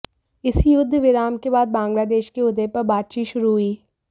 इसी युद्ध विराम के बाद बांग्लादेश के उदय पर बातचीत शुरू हुई